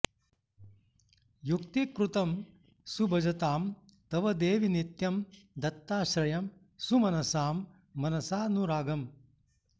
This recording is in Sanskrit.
युक्तीकृतं सुभजतां तव देवि नित्यं दत्ताश्रयं सुमनसां मनसानुरागम्